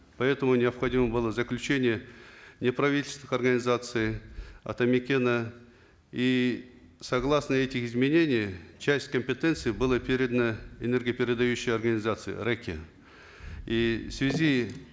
поэтому необходимо было заключение неправительственных организаций атамекена и согласно этих изменений часть компетенции была передана энергопередающей организации рэк е и в связи